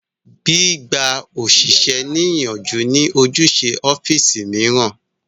Gbí gba òṣìṣẹ́ ní ìyànjú ní ojúṣe ọ́físì mìíràn